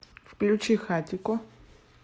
включи хатико